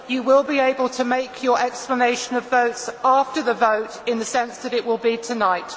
You will be able to make your explanations of vote after the vote, in the sense that it will be tonight.